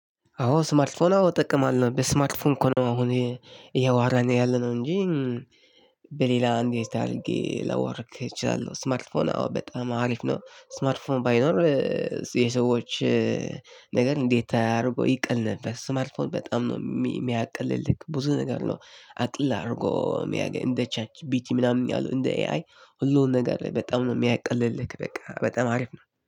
አዎ ስማርትፎን አዎ እጠቀማለሁ በስማርትፎን እኮ ነው አሁን ይሄ እያወራን ያለነው እንጂ በሌላ እንዴት አድርጌ ላወራክ እችላለሁ። ስማርት ፎን። አዎ በጣም አሪፍ ነው። ስማርት ፎን ባይኖር የሰዎች ነገር እንዴት አድርጎ ይቀል ነበር። ስማርትፎን በጣም ነው የሚያቅልልህ ብዙ ነገር ነው። አቅልሎ አንደ ቻት ጅፒቲ ምናምን አንደ ኤ አይ ሁሉንም ነገር በጣም ነው የምያቀልልህ በቃ በጣም አሪፍ ነው